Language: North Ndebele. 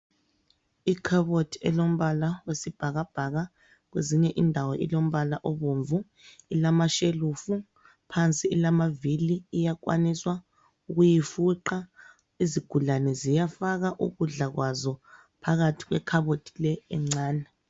Ikhabothi elombala oyisibhakabhaka kwezinye indawo ilombala obomvu. Ilamashelufu phansi ilamavili iyakwaniswa ukuyifuqa izigulane ziyafaka ukudla kwazo phakathi kwekhabothi le encane.